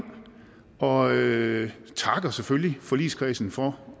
og vi takker selvfølgelig forligskredsen for